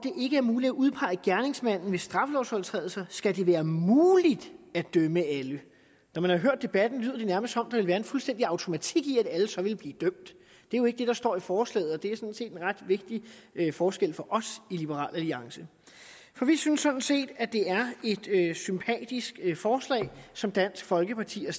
ikke er muligt at udpege gerningsmanden ved straffelovsovertrædelser skal det være muligt at dømme alle når man har hørt debatten lyder det nærmest som vil være en fuldstændig automatik i at alle så vil blive dømt det er jo ikke det der står i forslaget og det er sådan set en ret vigtig forskel for os i liberal alliance for vi synes sådan set at det er et sympatisk forslag som dansk folkeparti har